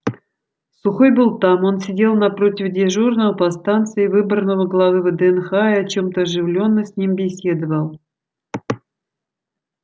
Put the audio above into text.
сухой был там он сидел напротив дежурного по станции выборного главы вднх и о чем-то оживлённо с ним беседовал